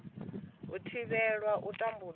u thivhela u tambudzwa ha